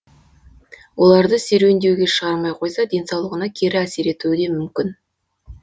оларды серуендеуге шығармай қойса денсаулығына кері әсер етуі де мүмкін